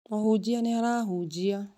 Mũhunjia nĩ arahunjia